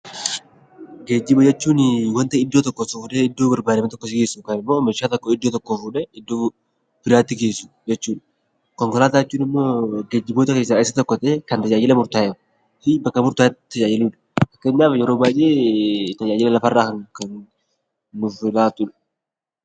Geejjiba jechuun waanta iddoo tokkoo si fuudhee iddoo barbaadame si geessu yookaan immoo meeshaa tokko iddoo tokkoo fuudhee iddoo biraatti geessu jechuudha. Konkolaataa jechuun immoo geejjiboota keessaa isa tokko ta'ee Kan tajaajila murtaa'ee fi bakka mirtaa'eetti tajaajiluudha. Kennama yeroo baay'ee tajaajila lafarraa nuuf kennudha nuuf laatudha.